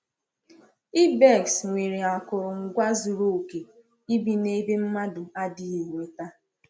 Ibex nwere akụrụngwa zuru oke ibi n’ebe mmadụ adịghị enweta.